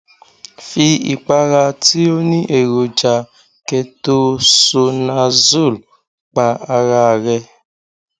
fi ìpara tí ó ní èròjà ketoconazole pa ara rẹ